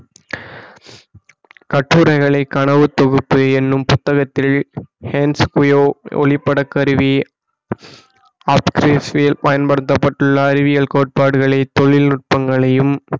கட்டுரைகளை கனவுத் தொகுப்பு என்னும் புத்தகத்தில் ஹென்ஸ் புயோ ஒளிப்பட கருவி பயன்படுத்தப்பட்டுள்ள அறிவியல் கோட்பாடுகளை தொழில்நுட்பங்களையும்